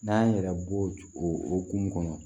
N'an y'an yɛrɛ bɔ o hukumu kɔnɔ